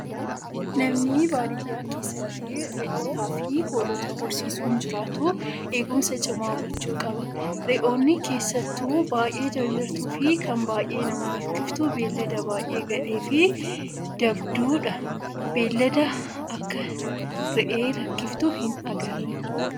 Namni baadiyyaa keessatti re'ootaa fi hoolota horsiisuun jiraatu eegumsa cimaa gochuu qaba. Re'oonni keessattuu baay'ee jarjartuu fi kan baay'ee nama rakkiftu beeylada baay'ee gadhee fi dabduudha. Beeylada akak re'ee rakkiftuu hin agarre.